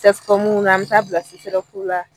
CSCOM na an mɛ taa bila CSRF la.